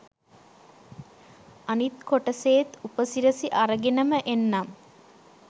අනිත් කොටසේත් උපසිරසි අරගෙනම එන්නම්